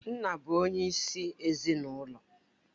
Nna bụ onyeisi ezinụlọ.